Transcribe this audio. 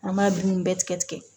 An b'a dumuni bɛɛ tigɛ tigɛ